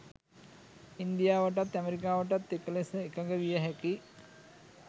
ඉන්දියාවටත් ඇමරිකාවටත් එක ලෙස එකග විය හැකි